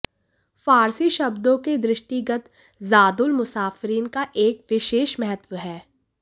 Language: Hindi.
फ़ार्सी शब्दों के दृष्टिगत ज़ादुल मुसाफ़ेरीन का एक विशेष महत्व है